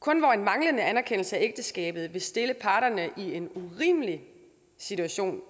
kun hvor en manglende anerkendelse af ægteskabet vil stille parterne i en urimelig situation